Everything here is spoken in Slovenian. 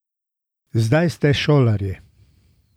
Zdaj ste šolarji.